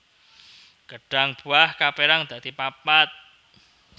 Gêdhang buah kapérang dadi papat